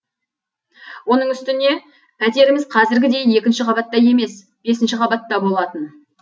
оның үстіне пәтеріміз қазіргідей екінші қабатта емес бесінші қабатта болатын